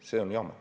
See on jama.